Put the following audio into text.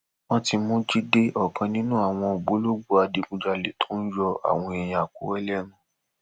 wọn ti mú jíde ọkan nínú àwọn ògbólógbòó adigunjalè tó ń yọ àwọn èèyàn àkúrè lẹnu